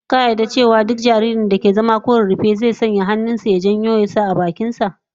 Ka yarda cewa jaririn da ke zama ko rarrafe, zai sanya duk abinda ya kamo da hannun sa a baki?